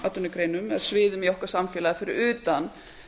atvinnugreinum eða sviðum í okkar samfélagi fyrir utan